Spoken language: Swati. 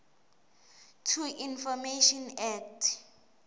to information act